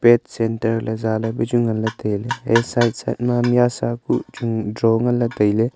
pet center le zaa le ku chu nganle taile hai side side ma miasa pu chu draw nganle taile.